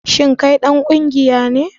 Shin kai dan kungiya ne?